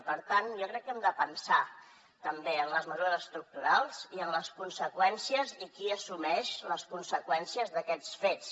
i per tant jo crec que hem de pensar també en les mesures estructurals i en les conseqüències i qui assumeix les conseqüències d’aquests fets